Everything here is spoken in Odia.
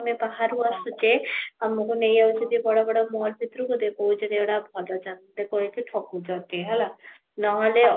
ଆମେ ବାହାରୁ ଆସୁଛେ ଆମକୁ ନେଇ ଯାଉଛନ୍ତି ବଡ ବଡ ମହଲ ଭିତର କୁ ଦେଖଉଛନ୍ତି ଏ ଗୁଡା ଭଲ ଚନ୍ଦନ ଦେଖ ଏଠି ଠକୁଛନ୍ତି ହେଲା ନହେଲେ